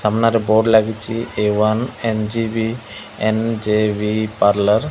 ସାମ୍ନାରେ ବୋର୍ଡ଼ ଲାଗିଛି A one N G B N G B parlour.